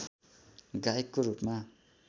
गायकको रूपमा